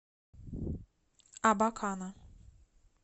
абакана